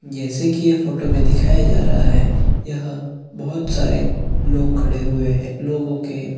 जैसे की ये फोटो पे दिखाया जा रहा है यह बहुत सारे लोग खड़े हुए है लोगो के--